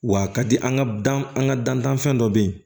Wa a ka di an ka dan an ka dantanfɛn dɔ bɛ yen